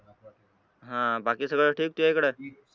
हां बाकी सगळं ठीक आहे इकडे?